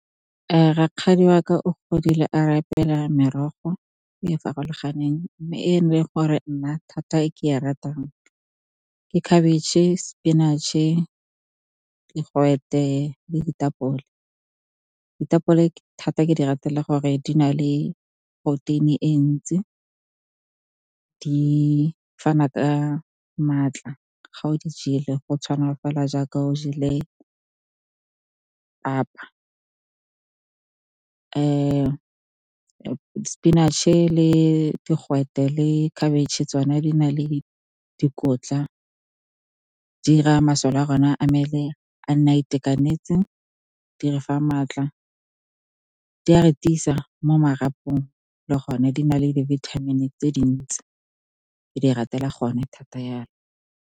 Rakgadi wa ka o godile a re apela merogo e e farologaneng, mme ene ele gore nna thata ke e ratang ke khabetšhe, sepinatšhe, digwete le ditapole. Ditapole thata, ke di ratela gore di na le protein-e e ntsi, di fana ka maatla. Ga o di jele, go tshwana fela jaaka o jele papa. Sepinatšhe le digwete le khabetšhe, tsona di na le dikotla, di 'ira masole a rona a mmele a nne a itekanetse. Di re fa maatla, di a re tisa mo marapong, le gone di na le di-vitamin-e tse dintsi, ke di ratelang gone thata yalo.